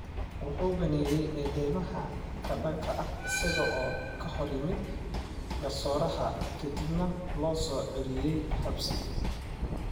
Wuxuu beeniyay eedeymaha ka dhanka ah isaga oo ka hor yimid garsooraha kadibna loo soo celiyay xabsi.